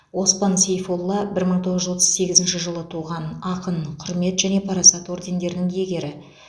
оспан сейфолла бір мың тоғыз жүз отыз сегізінші жылы туған ақын құрмет және парасат ордендерінің иегері